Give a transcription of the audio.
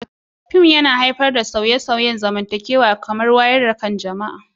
Fim na iya haifar da sauye-sauyen zamantakewa kamar wayar da kan jama'a.